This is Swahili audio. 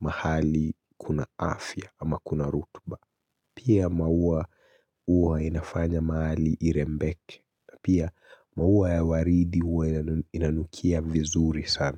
mahali kuna afya ama kuna rutuba Pia maua huwa inafanya mahali irembeke. Pia maua ya waridi huwa inanukia vizuri sana.